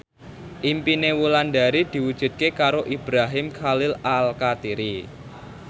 impine Wulandari diwujudke karo Ibrahim Khalil Alkatiri